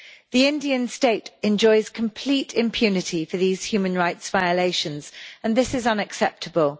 The Indian State enjoys complete impunity for these human rights violations and this is unacceptable.